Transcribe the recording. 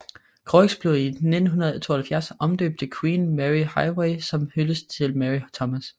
Croix blev i 1972 omdøbt til Queen Mary Highway som en hyldest til Mary Thomas